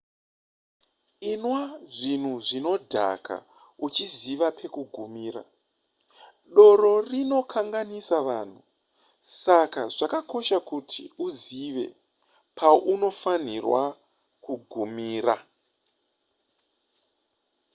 inwa zvinhu zvinodhaka uchiziva pekugumira doro rinokanganisa vanhu saka zvakakosha kuti uzive paunofanira kugumira